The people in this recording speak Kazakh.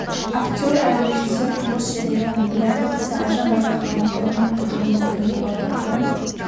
актер әрі режиссер тұңғыш рет ерлан біләлдің ісі айжан байзақованың қылығы мен тобының өнері туралы пікірін